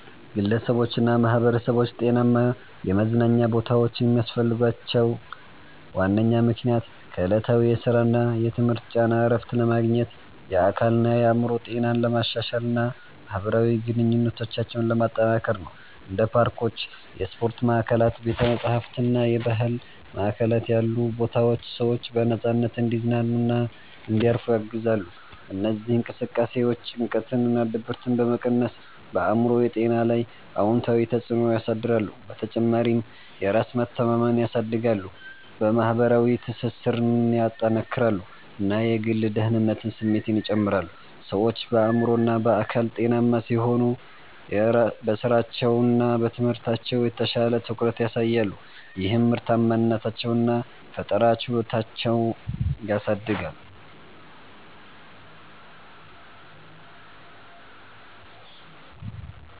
ግለሰቦችና ማኅበረሰቦች ጤናማ የመዝናኛ ቦታዎችን የሚያስፈልጋቸው ዋነኛ ምክንያት ከዕለታዊ የሥራና የትምህርት ጫና እረፍት ለማግኘት፣ የአካልና የአእምሮ ጤናን ለማሻሻል እና ማኅበራዊ ግንኙነቶችን ለማጠናከር ነው። እንደ ፓርኮች፣ የስፖርት ማዕከላት፣ ቤተ-መጻሕፍት እና የባህል ማዕከላት ያሉ ቦታዎች ሰዎች በነፃነት እንዲዝናኑና እንዲያርፉ ያግዛሉ። እነዚህ እንቅስቃሴዎች ጭንቀትንና ድብርትን በመቀነስ በአእምሮ ጤና ላይ አዎንታዊ ተጽዕኖ ያሳድራሉ። በተጨማሪም የራስ መተማመንን ያሳድጋሉ፣ የማኅበራዊ ትስስርን ያጠናክራሉ እና የግል ደህንነት ስሜትን ይጨምራሉ። ሰዎች በአእምሮና በአካል ጤናማ ሲሆኑ በሥራቸውና በትምህርታቸው የተሻለ ትኩረት ያሳያሉ፣ ይህም ምርታማነታቸውን እና ፈጠራ ችሎታቸውን ያሳድጋል